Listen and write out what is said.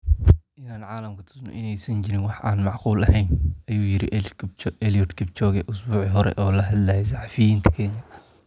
“In aan caalamka tusno in aysan jirin wax aan macquul ahayn” ayuu yiri Eliud Kipchoge usbuucii hore oo la hadlayay saxafiyiinta Kenya.